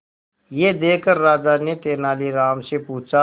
यह देखकर राजा ने तेनालीराम से पूछा